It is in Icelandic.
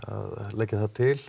leggja það til